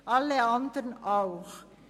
Alle anderen auch.